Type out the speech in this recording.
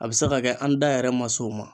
A bi se ka kɛ an da yɛrɛ ma s'o ma